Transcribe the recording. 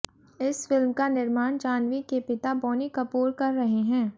इस फिल्म का निर्माण जाह्नवी के पिता बोनी कपूर कर रहे हैं